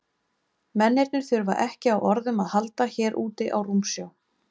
Mennirnir þurfa ekki á orðum að halda hér úti á rúmsjó.